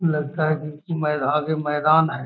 लगता है की मेघा के मैदान है।